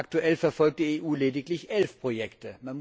Aktuell verfolgt die EU lediglich elf Projekte.